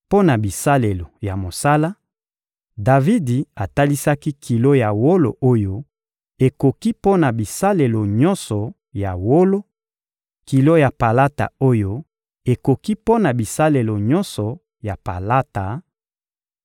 Mpo na bisalelo ya mosala, Davidi atalisaki kilo ya wolo oyo ekoki mpo na bisalelo nyonso ya wolo; kilo ya palata oyo ekoki mpo na bisalelo nyonso ya palata: